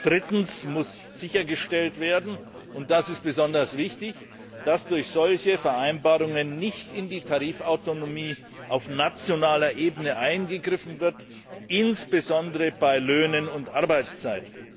Drittens muss sichergestellt werden, und das ist besonders wichtig, dass durch solche Vereinbarungen nicht in die Tarifautonomie auf nationaler Ebene eingegriffen wird, insbesondere bei Löhnen und Arbeitszeit.